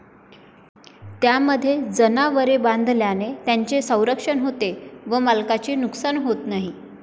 त्यामध्ये जनावरे बांधल्याने त्यांचे संरक्षण होते व मालकाचे नुकसान होत नाही.